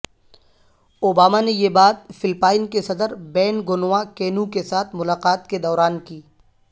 Obama نے یہ بات فلپائن کے صدر بینگنو اکینو کے ساتھ ملاقات کے دوران کی